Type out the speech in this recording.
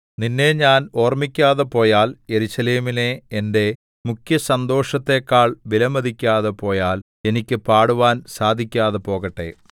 നിന്നെ ഞാൻ ഓർമ്മിക്കാതെ പോയാൽ യെരൂശലേമിനെ എന്റെ മുഖ്യസന്തോഷത്തെക്കാൾ വിലമതിക്കാതെ പോയാൽ എനിക്ക് പാടുവാന്‍ സാധിക്കാതെ പോകട്ടെ